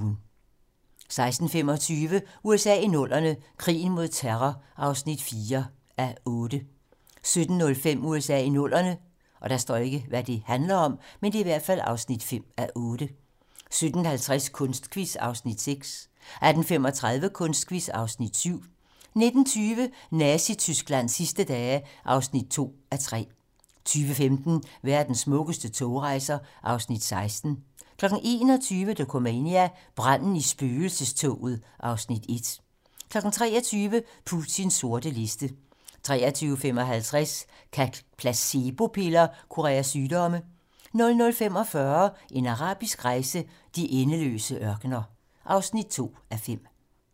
16:25: USA i 00'erne - krigen mod terror (4:8) 17:05: USA i 00'erne (5:8) 17:50: Kunstquiz (Afs. 6) 18:35: Kunstquiz (Afs. 7) 19:20: Nazi-Tysklands sidste dage (2:3) 20:15: Verdens smukkeste togrejser (Afs. 16) 21:00: Dokumania: Branden i spøgelsestoget (Afs. 1) 23:00: Putins sorte liste 23:55: Kan placebo-piller kurere sygdomme? 00:45: En arabisk rejse: De endeløse ørkener (2:5)